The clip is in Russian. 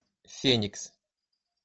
феникс